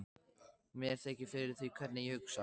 Mér þykir fyrir því hvernig ég hugsaði.